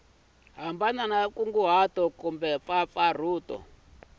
hambileswi nkunguhato na kumbe mpfampfarhuto